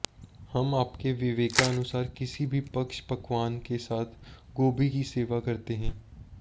हम आपके विवेकानुसार किसी भी पक्ष पकवान के साथ गोभी की सेवा करते हैं